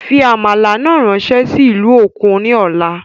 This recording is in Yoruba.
Fí àmàlà náà ráńsé sí ìlú òkun ní ọ̀la